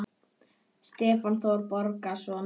Stefán Þór Bogason